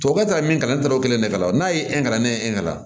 Tubabukan taara min kalannen tɛ o kelen de kama n'a ye ne ye e ka